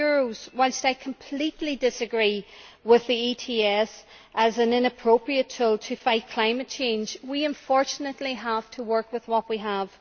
30. Whilst I completely disagree with the ETS, as an inappropriate tool to fight climate change, we unfortunately have to work with what we have.